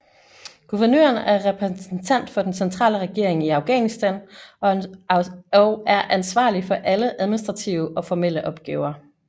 Guvernøren er repræsentent for den centrale regering i Afghanistan og er ansvarlig for alle administrative og formelle opgaver